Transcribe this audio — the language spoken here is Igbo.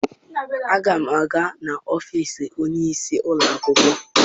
Aga m aga n'ọfiisi onye isi ụlọ akwụkwọ.